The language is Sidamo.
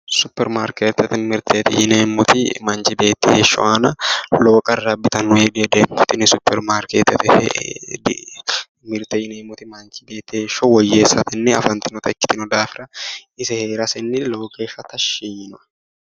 Supirimaarketete mirteti yinneemmoti manchi beetti heeshsho aana lowo qarra abbittano yee dihedeemmo tini supirimaariketete yinneemmoti manchi beetti heeshsho woyyeessate afattanotta ikkittanna ise heerasenni lowo geeshsha tashshi yiinoe.